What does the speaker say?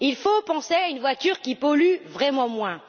Il faut penser à une voiture qui pollue vraiment moins.